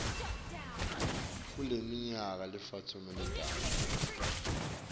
kuleminyaka lemitsatfu letako